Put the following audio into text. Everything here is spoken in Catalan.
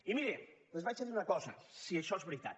i miri els vaig a dir una cosa si això és veritat